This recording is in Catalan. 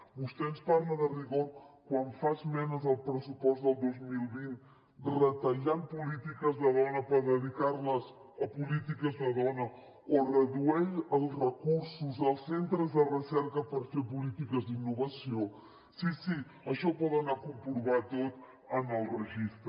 vostè ens parla de rigor quan fa esmenes al pressupost del dos mil vint retallant polítiques de dona per dedicarles a polítiques de dona o redueix els recursos als centres de recerca per fer polítiques d’innovació sí sí això ho poden anar a comprovar tot en el registre